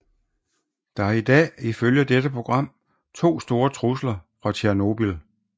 Der er i dag ifølge dette program to store trusler fra Tjernobyl